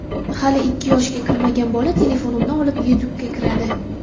Hali ikki yoshga kirmagan bola telefonimni olib, YouTube’ga kiradi.